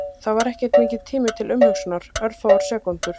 Það var ekki mikill tími til umhugsunar, örfáar sekúndur.